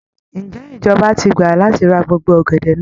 Ǹjẹ́ ìjọba ti gbà láti ra gbogbo ọ̀gẹ̀dẹ̀ náà?